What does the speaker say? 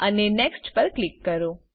અને નેક્સ્ટ પર ક્લિક કરો